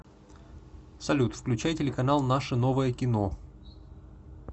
салют включай телеканал наше новое кино